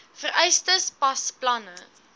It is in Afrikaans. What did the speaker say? vereistes pas planne